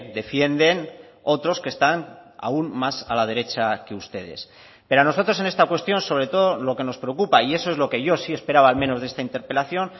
defienden otros que están aún más a la derecha que ustedes pero a nosotros en esta cuestión sobre todo lo que nos preocupa y eso es lo que yo sí esperaba al menos de esta interpelación